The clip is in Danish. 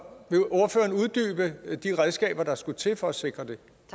vil de redskaber der skulle til for at sikre